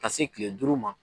Ka se kile duuru ma.